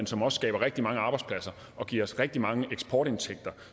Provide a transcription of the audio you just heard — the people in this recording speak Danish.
som også skaber rigtig mange arbejdspladser og giver os rigtig mange eksportindtægter